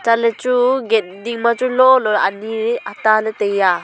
chatley chu gate ding ma chu lolo ley ani ata ley taiya.